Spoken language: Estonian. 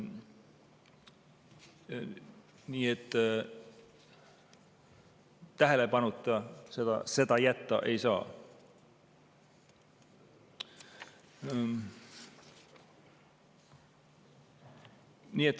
Nii et tähelepanuta seda jätta ei saa.